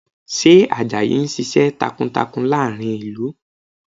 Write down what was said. Ṣé Àjàyí ń ṣiṣẹ́ takuntakun láàrin ìlú?